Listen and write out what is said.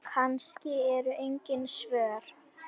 Kannski eru engin svör.